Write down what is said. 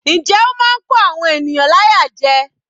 Njẹ́ ó máa ń kó àwọn ènìyàn láyà jẹ.